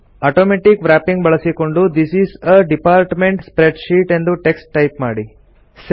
automatic wrapping ಬಳಸಿಕೊಂಡು this is a department spreadsheet ಎಂದು text type ಮಾಡಿ